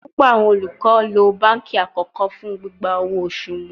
Pupọ awọn olukọ lo banki akọkọ fun gbigba owo osu wọn